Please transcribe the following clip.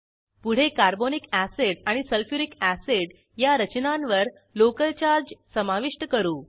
पुढे carbonic acid आणि sulphuric acid या रचनांवर लोकल चार्ज समाविष्ट करू